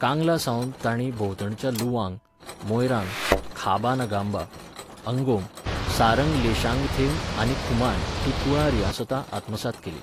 कांगलासावन तांणी भोंवतणच्या लुवांग, मोयरांग, खाबा नगांबा, अंगोम, सारंग लेशांगथेम आनी खुमान हीं कुळां रियासतां आत्मसात केलीं.